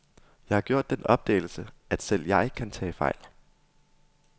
Jeg har gjort den opdagelse, at selv jeg kan tage fejl.